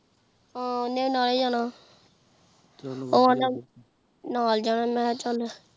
ਹਾਂ ਓਹਨੇ ਵੀ ਨਾਲ ਹੀ ਜਨਾ ਨਾਲ ਜਾਣਾ ਮੈ ਕਹਯ ਚਲ